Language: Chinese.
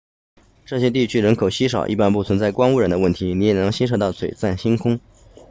这些地区人口稀少一般不存在光污染的问题你也能欣赏到璀璨星空